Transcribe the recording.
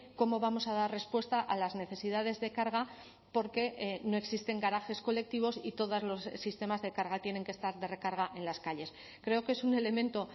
cómo vamos a dar respuesta a las necesidades de carga porque no existen garajes colectivos y todas los sistemas de carga tienen que estar de recarga en las calles creo que es un elemento